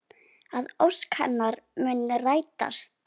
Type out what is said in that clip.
Að ósk hennar muni rætast.